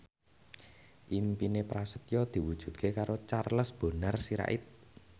impine Prasetyo diwujudke karo Charles Bonar Sirait